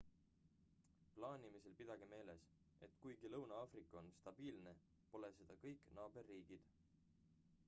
plaanimisel pidage meeles et kuigi lõuna-aafrika on stabiilne pole seda kõik naaberriigid